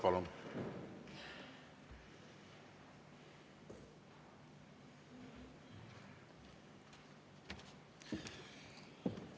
Palun!